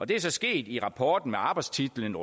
det er så sket i rapporten med arbejdstitlen